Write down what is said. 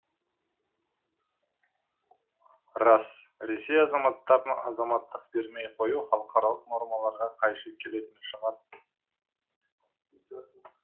рас ресей азаматтарына азаматтық бермей қою халықаралық нормаларға қайшы келетін шығар